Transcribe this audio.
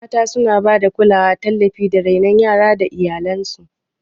Mata suna ba da kulawa, tallafi, da renon yara ga iyalansu